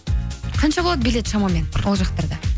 қанша болады билет шамамен ол жақтарда